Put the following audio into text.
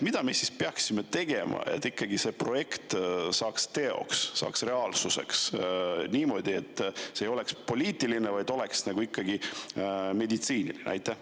Mida me siis peaksime tegema, et see projekt saaks ikkagi teoks, saaks reaalsuseks niimoodi, et see ei oleks poliitiline, vaid oleks meditsiiniline?